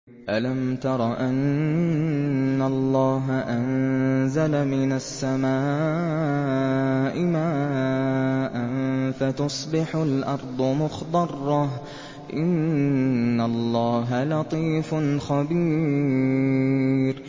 أَلَمْ تَرَ أَنَّ اللَّهَ أَنزَلَ مِنَ السَّمَاءِ مَاءً فَتُصْبِحُ الْأَرْضُ مُخْضَرَّةً ۗ إِنَّ اللَّهَ لَطِيفٌ خَبِيرٌ